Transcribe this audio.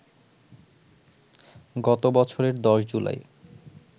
গত বছরের ১০ জুলাই